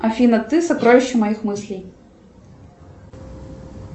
афина ты сокровище моих мыслей